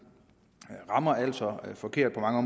altså rammer forkert på mange